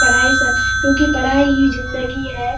पढ़ाई सा क्यों कि पढ़ाई ही जिंदगी है |